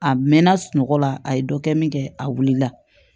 A mɛnna sunɔgɔ la a ye dɔ kɛ min kɛ a wulila